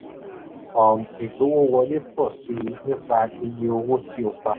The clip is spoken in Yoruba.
um ìgbowówọlé pọ̀ sí i nípa iye owó tí o pa.